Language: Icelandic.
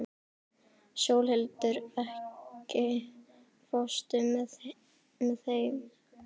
Sólhildur, ekki fórstu með þeim?